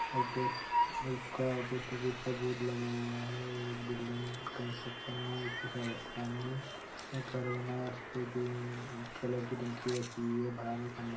और पोस्ट का post office का बोर्ड लगा हुआ है और एक बिल्डिंग कंस्ट्रक्शन में उसके सा सामने एक घर बनाया है उस पे ग्रीन कलर की टंकी रखी है बाहर खंभा--